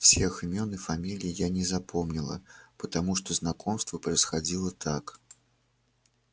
всех имён и фамилий я не запомнила потому что знакомство происходило так